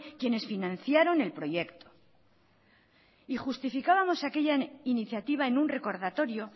quienes financiaron el proyecto y justificábamos aquella iniciativa en un recordatorio